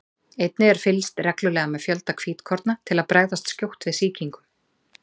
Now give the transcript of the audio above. einnig er fylgst reglulega með fjölda hvítkorna til að bregðast skjótt við sýkingum